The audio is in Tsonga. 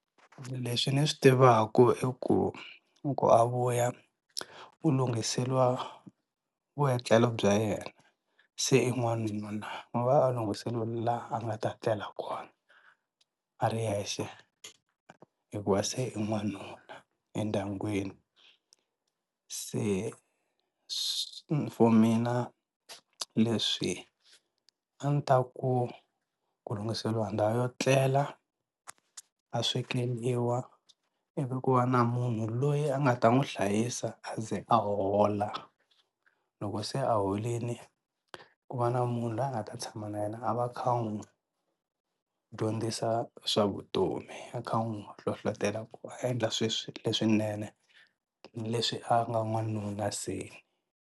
Leswi ni swi tivaka i ku loko a vuya u lunghiseliwa vuetlelo bya yena se i n'wanuna mi va a lunghisela laha a nga ta tlela kona a ri yexe hikuva se i n'wanuna endyangwini se for mina leswi a ni ta ku ku lunghiseliwa ndhawu yo etlela, a swekeliwa i vi ku va na munhu loyi a nga ta n'wi hlayisa a ze a hola loko se a holini ku va na munhu loyi a nga ta tshama na yena a va a kha n'wi dyondzisa swa vutomi a kha a n'wi hlohlotela ku a endla sweswo leswinene leswi a nga n'wanuna se.